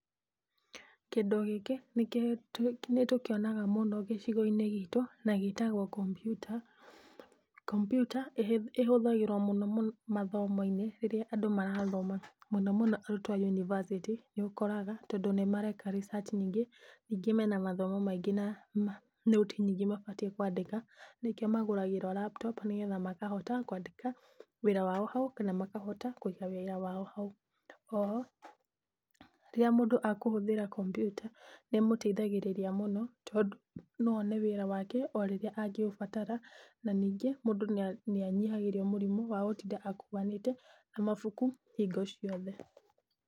Kĩndũ gĩkĩ, nĩ tũkĩonaga mũno gĩcigo-inĩ gitũ, na gĩtagwo kompiuta. Kompiuta ĩhũthagĩrwo mũno mũno mathomo-inĩ rĩrĩa andũ marathoma mũno mũno arutwo a yunibacĩtĩ nĩũkoraga, tondũ nĩ mareka research nyingĩ, ningĩ mena mathomo maingĩ na nũti nyingĩ mabatiĩ kwandĩka, nĩkĩo magũragĩrwo laptop, nĩgetha makahota kwandĩka wĩra wao ho, kana makahota kũiga wĩra wao hau. Oho, rĩrĩa mũndũ akũhũthĩra kompiuta, nĩ ĩmũteithagĩrĩria mũno, tondũ no one wĩra wake o rĩrĩa angĩũbatara, na ningĩ mũndũ nĩ anyihagĩrio mũrigo wa gũtinda akuanĩte na mabuku hingo ciothe.